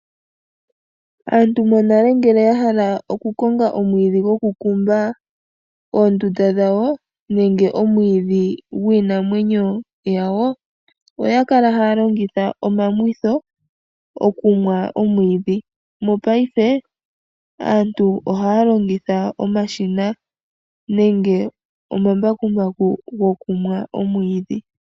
Aantu monale ngele yahala okukonga oomwiidhi gokukumba oondunda dhawo nenge omwiidhi gwiinamwenyo yawo, oya kala hay longitha omamwitho okumwa omwiidhi, mopaife aantu ohaya longitha omashina nenge omambakumbaku gokumwa omwiidhi.